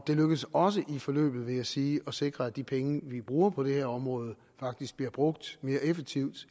det lykkedes også i forløbet vil jeg sige at sikre at de penge vi bruger på det her område faktisk bliver brugt mere effektivt